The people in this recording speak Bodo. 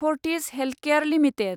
Fortis healthcare limited